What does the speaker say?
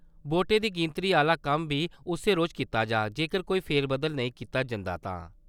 वोटें दी गिनतरी आह्‌ला कम्म बी उस्सै रोज कीता जाग, जेकर कोई फेरबदल नेईं कीता जंदा तां।